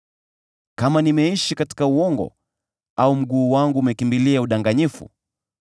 “Kama nimeishi katika uongo au mguu wangu umekimbilia udanganyifu,